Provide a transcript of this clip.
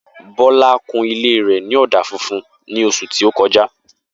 Bola kun ilé rè ní ọ̀dà funfun ní oṣù tí o kọjá